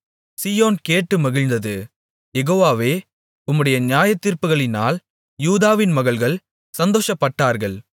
சீயோன் கேட்டு மகிழ்ந்தது யெகோவாவே உம்முடைய நியாயத்தீர்ப்புகளினால் யூதாவின் மகள்கள் சந்தோஷப்பட்டார்கள்